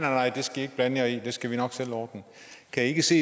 nej det skal i ikke blande jer i det skal vi nok selv ordne kan i ikke se